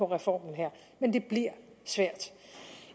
reformen her men det bliver svært